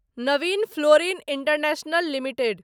Naveen fluorine international limited